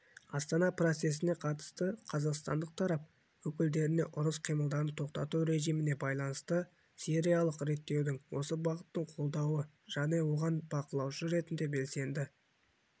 астана процесіне қатысты қазақстандық тарап өкілдеріне ұрыс қимылдарын тоқтату режиміне байланысты сирияаралық реттеудің осы бағытын қолдауды және оған бақылаушы ретінде белсенді